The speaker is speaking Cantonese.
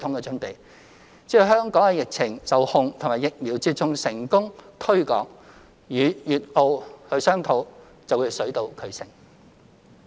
只要香港的疫情受控及疫苗接種成功推廣，與粵、澳商討便能水到渠成。